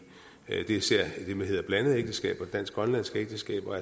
især blandede ægteskaber altså dansk grønlandske ægteskaber